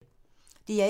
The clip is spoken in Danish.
DR1